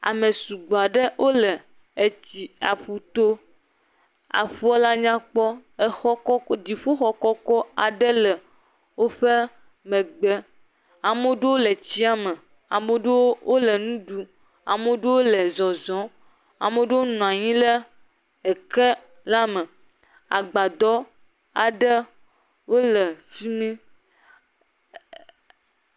Ame sugbɔ aɖe wole etsi aƒu to. Efia la nyakpɔ ye dziƒo kɔkɔ aɖe le aƒua ƒe megbe. Ame aɖewo le tsia me. Ame aɖewo le nu ɖum. Ame aɖewo le zɔzɔm. Ame aɖewo le eke me. Agbadɔ aɖe le fimi.